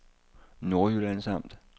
Nordjyllands Amt